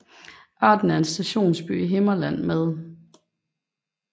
Arden er en stationsby i Himmerland med